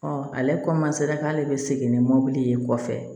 ale k'ale bɛ segin ni mɔbili ye kɔfɛ